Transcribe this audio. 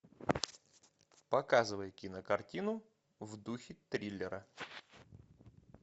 показывай кинокартину в духе триллера